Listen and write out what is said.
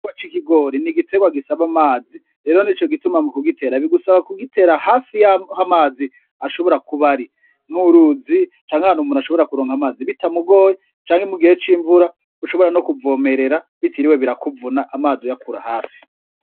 Igiterwa c'ikigori n'igiterwa gisaba amazi rero nico gituma mu kugitera bigusaba kugitera hafi y'amazi ashobora kuba ari nk'uruzi canke ahantu umuntu ashobora kuronka amazi bitamugoye canke mugihe c'imvura ushobora no kuvomerera bitiriwe birakuvuna amazi uyakura hafi.